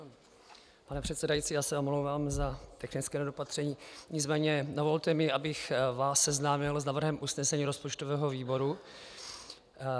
Pane předsedající, já se omlouvám za technické nedopatření, nicméně dovolte mi, abych vás seznámil s návrhem usnesení rozpočtového výboru.